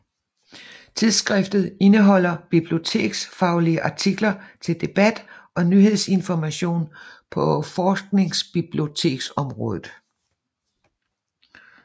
Tidsskriftet indeholder biblioteksfaglige artikler til debat og nyhedsinformation på forskningsbiblioteksområdet